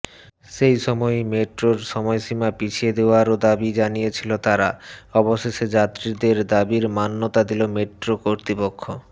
সেইসময়ই মেট্রোর সময়সীমা পিছিয়ে দেওয়ারও দাবি জানিয়েছিল তারা অবশেষে যাত্রীদের দাবির মান্যতা দিল মেট্রো কর্তৃপক্ষ